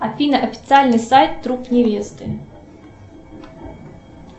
афина официальный сайт труп невесты